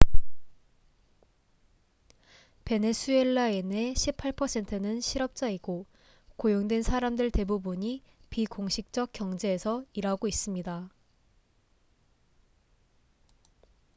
베네수엘라인의 18%는 실업자이고 고용된 사람들 대부분이 비공식적 경제에서 일하고 있습니다